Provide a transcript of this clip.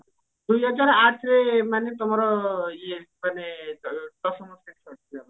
ଦୁଇ ହଜାର ଆଠରେ ମାନେ ତମର ଇଏ ମାନେ ଦଶମ ଶ୍ରେଣୀ ସରୁଥିଲା